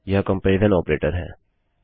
यह comparison operator है